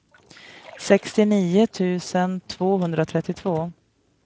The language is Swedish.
sextionio tusen tvåhundratrettiotvå